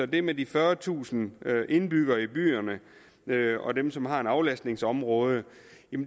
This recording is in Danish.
det med de fyrretusind indbyggere i byerne og dem som har et aflastningsområde